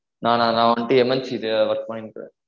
நானா நா வன்ட்டு MNC ல work பண்ணிட்டு இருக்கேன்